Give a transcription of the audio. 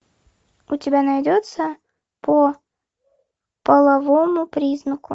у тебя найдется по половому признаку